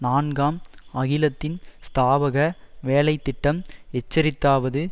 நான்காம் அகிலத்தின் ஸ்தாபக வேலை திட்டம் எச்சரித்ததாவது